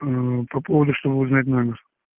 мм по поводу чтобы узнать номер